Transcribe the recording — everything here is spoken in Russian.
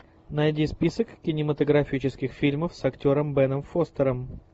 найди список кинематографических фильмов с актером беном фостером